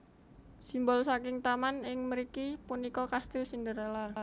Simbol saking taman ing mriki punika kastil Cinderella